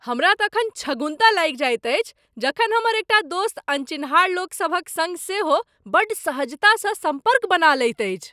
हमरा तखन छगुन्ता लागि जाइत अछि जखन हमर एकटा दोस्त अनचिन्हार लोक सभक सङ्ग सेहो बड़ सहजतासँ सम्पर्क बना लैत अछि।